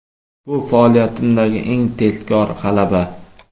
Bu faoliyatimdagi eng tezkor g‘alaba.